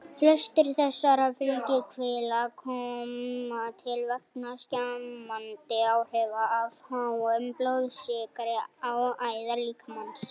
Flestir þessara fylgikvilla koma til vegna skemmandi áhrifa af háum blóðsykri á æðar líkamans.